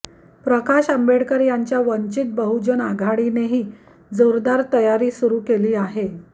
प्रकाश आंबेडकर यांच्या वंचित बहुजन आघाडीनेही जोरदार तयारू सुरु केली आहे